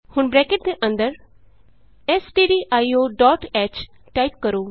ਹੁਣ ਬਰੈਕਟ ਦੇ ਅੰਦਰ ਸਟਡੀਆਈਓ ਡੋਟ h ਟਾਈਪ ਕਰੋ